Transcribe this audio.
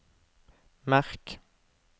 merk